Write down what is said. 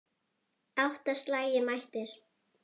Átta slagir mættir.